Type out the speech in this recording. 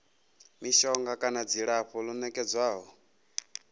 mishonga kana dzilafho ḽo nekedzwaho